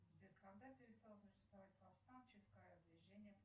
сбер когда перестало существовать повстанческое движение